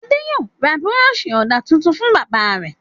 Adé yóò ra búrọ́ṣì ọ̀dà tuntun fún bàbá rẹ̀.